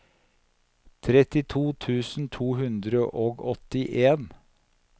trettito tusen to hundre og åttien